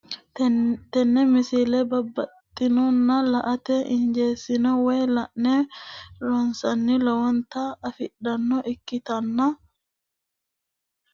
tenne misile baxisannonna la"ate injiitanno woy la'ne ronsannire lowote afidhinota ikkitanna tini leellishshannonkeri la'nummoha ikkiro tini misile wonqo amade farashshu aana ofolle noo ejjeettichaati.